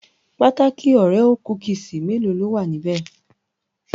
Pataki òréò kúkísì mélòó ló wà níbẹ̀?